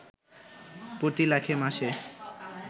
প্রতি লাখে মাসে